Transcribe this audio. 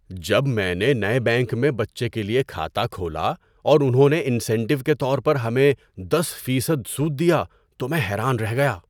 جب میں نے نئے بینک میں بچے کے لیے کھاتہ کھولا اور انہوں نے انسینٹو کے طور پر ہمیں دس فیصد سود دیا تو میں حیران رہ گیا۔